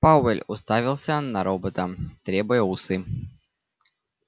пауэлл уставился на робота теребя усы